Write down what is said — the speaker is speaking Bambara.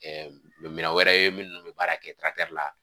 mi miya wɛrɛ ye minnu bɛ baara kɛ la